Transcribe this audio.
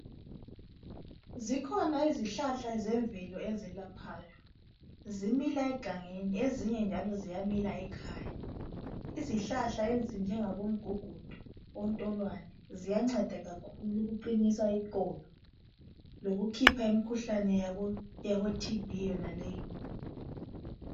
ikhona izihlahla ezemvelo ezelaphayo. Zimila egangeni ezinye njalo zimila ekhaya. Izihlahla ezinjengabo mgugudu , ontolwane ziyanceda kakhulu ukuqinisa iqolo lokukhipha imkhuhlane yabo TB yonale.